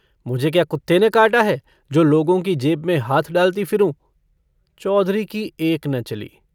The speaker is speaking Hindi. मुझे क्या कुत्ते ने काटा है जो लोगों की जेब में हाथ डालती फिरूँ। चौधरी की एक न चली।